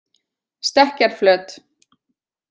Stekkjarflöt